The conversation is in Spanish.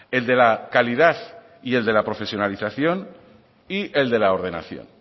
el de la calidad y el de la profesionalización y el de la ordenación